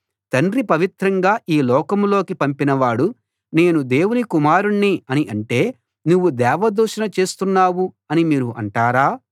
తండ్రి పవిత్రంగా ఈ లోకంలోకి పంపినవాడు నేను దేవుని కుమారుణ్ణి అని అంటే నువ్వు దేవదూషణ చేస్తున్నావు అని మీరు అంటారా